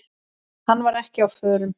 Hann var ekki á förum.